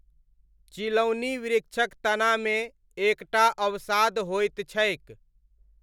चिलौनी वृक्षक तनामे एक टा अवसाद होइत छैक।